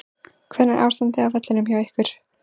Hvernig er ástandið á vellinum hjá ykkur?